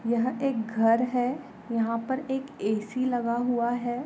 यह एक घर है यहाँ पर एक ए सी लगाया हुआ है।